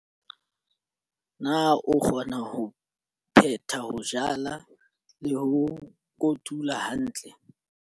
Na o kgona ho phetha ho jala le ho kotula hantle?